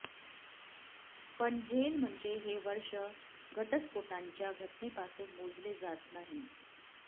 पण झेल म्हणजे हे वर्ष घटस्फोटांच्या घटनेपासून मोजले जात नाही